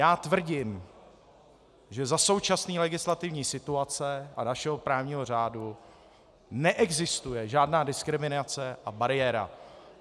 Já tvrdím, že za současné legislativní situace a našeho právního řádu neexistuje žádná diskriminace a bariéra.